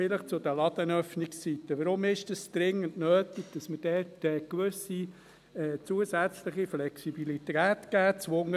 Vielleicht zu den Ladenöffnungszeiten: Warum ist es dringend nötig, dass wir dort eine gewisse zusätzliche Flexibilität geben?